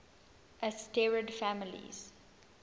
asterid families